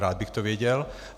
Rád bych to věděl.